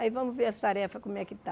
Aí vamos ver as tarefas como é que está.